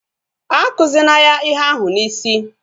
Akuzina ya ihe ahụ n'isi!